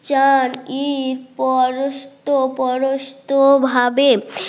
চার ঈদ পর পরস্ত পরস্ত ভাবে